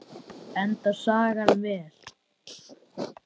Endar sagan vel?